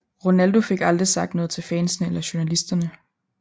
Ronaldo fik aldrig sagt noget til fansne eller journalisterne